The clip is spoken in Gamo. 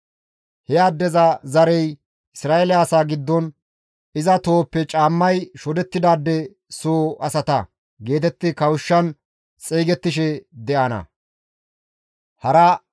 He addeza zarey Isra7eele asaa giddon, «Iza tohoppe caammay shodettidaade soo asata» geetetti kawushshan xeygettishe de7ana.